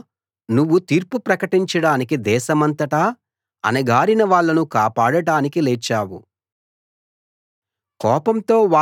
దేవా నువ్వు తీర్పు ప్రకటించడానికి దేశమంతటా అణగారిన వాళ్ళను కాపాడడానికి లేచావు సెలా